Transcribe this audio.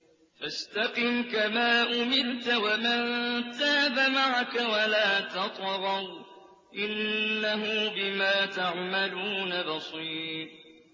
فَاسْتَقِمْ كَمَا أُمِرْتَ وَمَن تَابَ مَعَكَ وَلَا تَطْغَوْا ۚ إِنَّهُ بِمَا تَعْمَلُونَ بَصِيرٌ